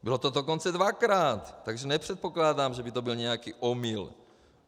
Bylo to dokonce dvakrát, takže nepředpokládám, že by to byl nějaký omyl.